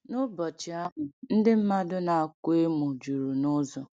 N’ụbọchị ahụ, ndị mmadụ na-akwa emo juru n’ụzọ.